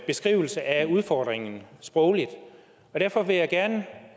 beskrivelse af udfordringen sprogligt og derfor vil jeg gerne